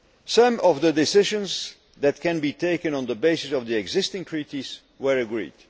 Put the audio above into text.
Some of the decisions that can be taken on the basis of the existing Treaties were agreed.